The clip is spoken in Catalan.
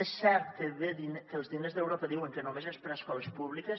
és cert que els diners d’europa diuen que només són per a escoles públiques